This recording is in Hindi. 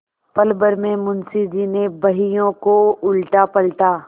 पलभर में मुंशी जी ने बहियों को उलटापलटा